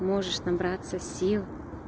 можешь набраться сил